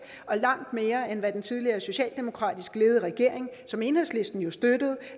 og langt mere end hvad den tidligere socialdemokratisk ledede regering som enhedslisten jo støttede